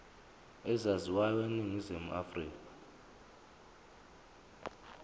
ezaziwayo eningizimu afrika